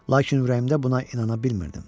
Lakin ürəyimdə buna inana bilmirdim.